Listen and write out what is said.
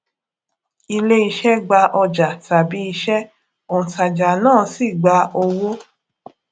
ilé iṣè gba ọjà tabi iṣé ontajà náà sì gba owó